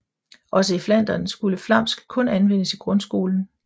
Også i Flandern skulle flamsk kun anvendes i grundskolen